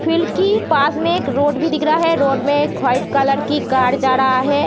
field की पास में एक रोड भी दिख रहा है | रोड में एक वाइट कलर की कार जा रहा है |